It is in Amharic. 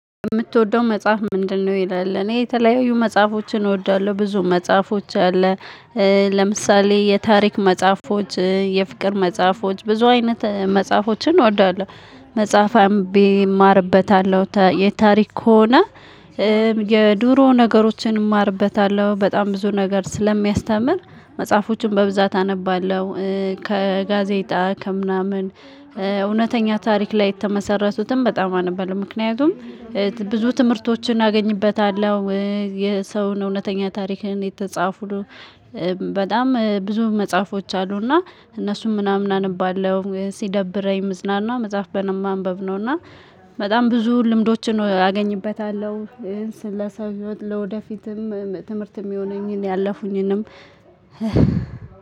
የምትወደው መጽሐፍ ምንድነው? ይላል እኔ የተለያዩ መጽሐፎችን እወዳለሁ ብዙ መጽሐፎች አለ። ለምሳሌ የታሪክ መጽሐፎች የፍቅር መጽሐፎች ብዙ አይነት መጽሐፎችን እወዳለሁ። መጽሐፍ አምብቤ እማርበታለሁ የታሪክ ከሆነ። የድሮ ነገሮችን እማርበታለሁ በጣም ብዙ ነገር ስለሚያስተምር መጽሐፎችን በብዛት አነባለሁ ከጋዜጣ ከምናምን። እውነተኛ ታሪክ ላይ የተመሰረቱትን በጣም አናባለሁበት ምክንያቱም። ብዙ ትምህርቶችን አገኝበታለሁ። የሰው እውነተኛ ታሪክን የተጻፉ በጣም ብዙ መጽሐፎች አሉና እነሱም ምናምን አነበዋለሁ። ሲደብረኝ ምዝናና መጽሐፍ በማንበብ ነውና እና በጣም ብዙ ልምዶችን አገኝበታለሁ። ስለ ሰዎች ለወደ ፊትም ትምህርት የሚሆነኝን ያለፉኝንም